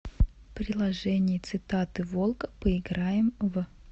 приложение цитаты волка поиграем в